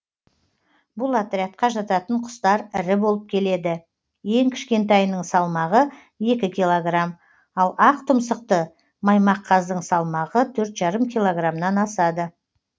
бұл отрядқа жататын құстар ірі болып келеді ең кішкентайының салмағы екі килограмм ал ақтұмсықты маймаққаздың салмағы төрт жарым килограмнан асады